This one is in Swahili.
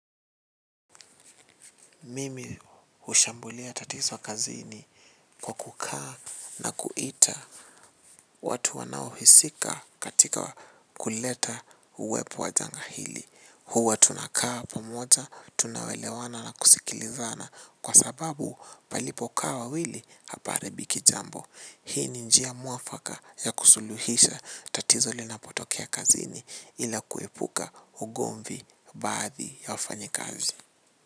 Mimi hushambulia tatizo kazini kwa kukaa na kuita watu wanaohisika katika kuleta uwepo wa janga hili. Huwa tunakaa pamoja, tunaoelewana na kusikilizana kwa sababu palipokaa wawili hapaharibiki jambo. Hii ni njia mwafaka ya kusuluhisha tatizo lina potokea kazini ila kuipuka ugomvi baadhi ya wafanyi kazi.